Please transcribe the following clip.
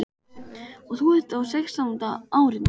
Og þú ert á sextánda árinu.